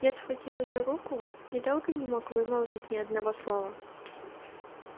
я схватил её руку и долго не мог вымолвить ни одного слова